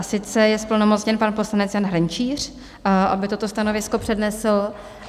A sice je zplnomocněn pan poslanec Jan Hrnčíř, aby toto stanovisko přednesl.